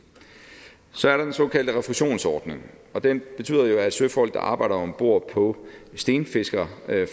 så er der den såkaldte refusionsordning den betyder jo at søfolk der arbejder om bord på stenfiskerfartøjer